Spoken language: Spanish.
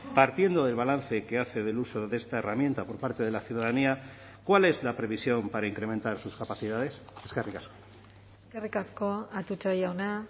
partiendo del balance que hace del uso de esta herramienta por parte de la ciudadanía cuál es la previsión para incrementar sus capacidades eskerrik asko eskerrik asko atutxa jauna